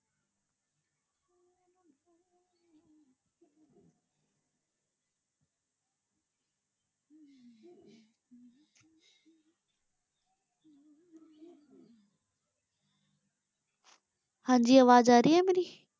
ਹਾਂਜੀ ਆਵਾਜ਼ ਆ ਰਹੀ ਹੈ ਮੇਰੀ?